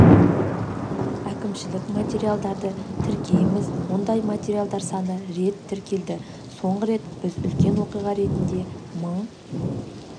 әкімшілік материалдарды тіркейміз мұндай материалдар саны рет тіркелді соңғы рет біз үлкен оқиға ретінде мың